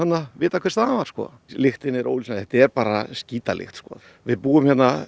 vitað hver staðan var lyktin er ólýsanleg þetta er bara skítalykt við búum